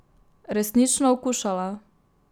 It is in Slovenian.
Resnično okušala.